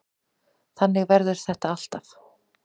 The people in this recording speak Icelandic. Þannig verður þetta alltaf.